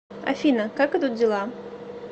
афина как идут дела